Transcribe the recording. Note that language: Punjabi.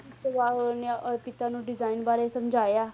ਉਸ ਤੋਂ ਬਾਅਦ ਉਹਨੇ ਅਹ ਪਿਤਾ ਨੂੰ design ਬਾਰੇ ਸਮਝਾਇਆ,